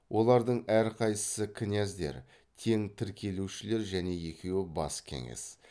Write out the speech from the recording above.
олардың әрқайсысы князьдер тең тіркеушілер және екеуі бас кеңес